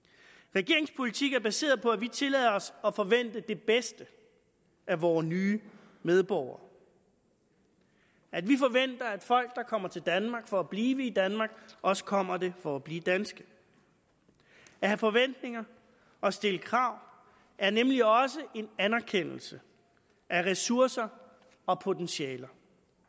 regeringens politik er baseret på at vi tillader os at forvente det bedste af vore nye medborgere at vi forventer at folk der kommer til danmark for at blive i danmark også kommer det for at blive danske at have forventninger og at stille krav er nemlig også en anerkendelse af ressourcer og potentialer